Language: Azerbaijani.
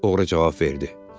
oğru cavab verdi.